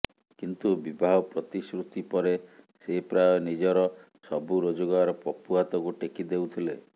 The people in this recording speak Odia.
କିନ୍ତୁ ବିବାହ ପ୍ରତିଶ୍ରୁତି ପରେ ସେ ପ୍ରାୟ ନିଜର ସବୁ ରୋଜଗାର ପପୁ ହାତକୁ ଟେକି ଦେଉଥିଲେ